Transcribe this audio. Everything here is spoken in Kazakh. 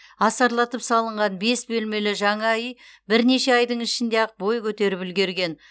асарлатып салынған бес бөлмелі жаңа үй бірнеше айдың ішінде ақ бой көтеріп үлгерген